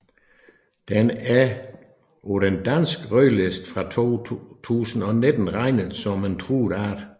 Den er på den danske rødliste fra 2019 regnet som en truet art